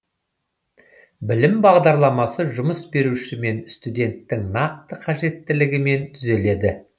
білім бағдарламасы жұмыс беруші мен студенттің нақты қажеттілігімен түзіледі